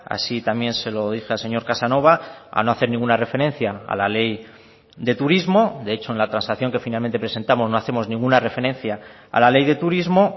así también se lo dije al señor casanova a no hacer ninguna referencia a la ley de turismo de hecho en la transacción que finalmente presentamos no hacemos ninguna referencia a la ley de turismo